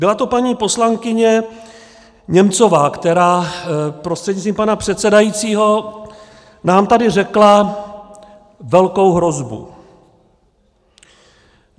Byla to paní poslankyně Němcová, která prostřednictvím pana předsedajícího nám tady řekla velkou hrozbu.